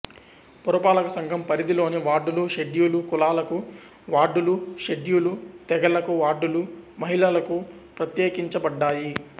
పురపాలక సంఘం పరిధిలోని వార్డులు షెడ్యూలు కులాలకు వార్డులు షెడ్యూలు తెగలకు వార్డులు మహిళలకు ప్రత్యేకించబడ్డాయి